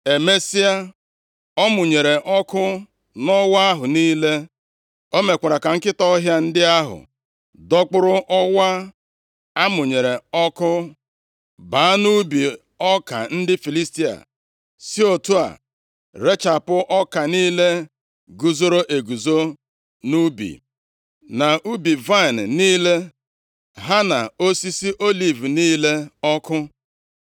Emesịa, ọ mụnyere ọkụ nʼọwa ahụ niile. O mekwara ka nkịta ọhịa ndị ahụ dọkpụrụ ọwa a mụnyere ọkụ baa nʼubi ọka ndị Filistia, si otu a rechapụ ọka niile guzoro eguzo nʼubi, na ubi vaịnị niile, ha na osisi oliv niile ọkụ.